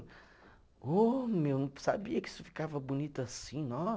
Ô, meu, eu não sabia que isso ficava bonito assim, ó